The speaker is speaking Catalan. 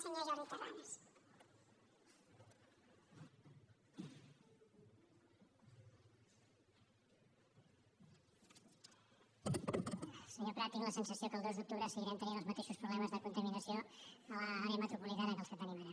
senyor prats tinc la sensació que el dos d’octubre seguirem tenint els mateixos problemes de contaminació a l’àrea metropolitana que els que tenim ara